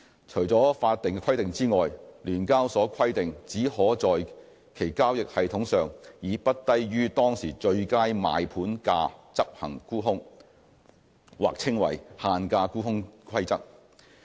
除了法定規定外，聯交所規定只可在其交易系統上，以不低於當時最佳賣盤價執行沽空。